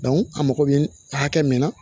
a mago bɛ hakɛ min na